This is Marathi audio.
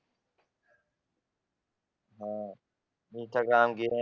हा दुसरं काम बी नाही